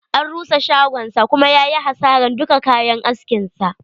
An rusa shagonsa kuma yayi hasaran duka kayan askin sa.